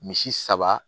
Misi saba